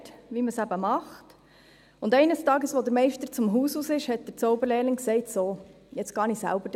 Er lernte, wie man es macht, und eines Tages, als der Meister das Haus verliess, sagte der Zauberlehrling: «So, jetzt gehe ich selber dahinter.